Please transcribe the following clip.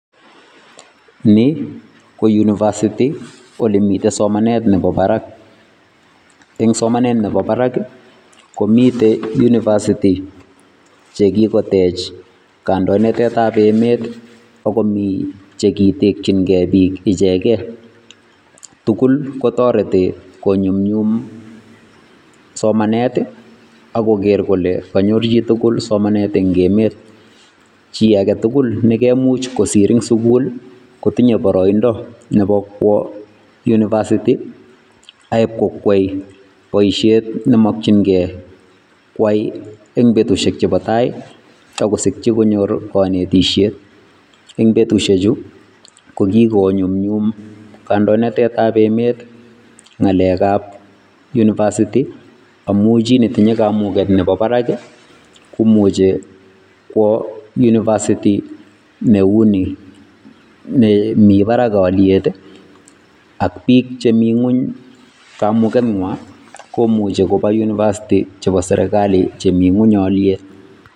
Nii ko University oleemiten somanet nebo barak, eng' somanet nebo barak komiten University chekikotech kandoinatetab emet ak komii chekitekyinge biik icheken, tukul kotoreti konyumnyum somanet ak koker kolee konyor chitukul somanet eng' emet chii aketukul ne kemuch kosir en sukul kotinye boroindo nebo kwoo University aeiib kwoo kwai boishet nemokying'e kwai en betushek chebo taai ak kosikyi konyor konetishet, eng' betushechu ko kikonyumnyum kandoinatetab emet ng'alekab University amun chii netinye kamuket nebo barak komuchi kwoo University neuni nemii barak oliet ak biik chemii ng'weny kamukenywan komuche koba University chebo serikali chemingweny oliet.